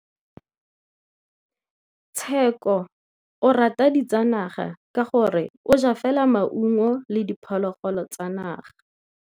Tshekô o rata ditsanaga ka gore o ja fela maungo le diphologolo tsa naga.